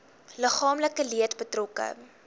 liggaamlike leed betrokke